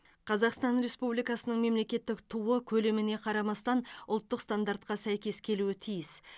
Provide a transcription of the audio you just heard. қазақстан республикасының мемлекеттік туы көлеміне қарамастан ұлттық стандартқа сәйкес келуі тиіс